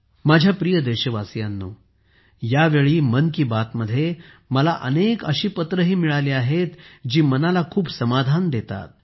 माझ्या प्रिय देशवासियांनो यावेळी मन की बातमध्ये मला अनेक अशी पत्रेही मिळाली आहेत जी मनाला खूप समाधान देतात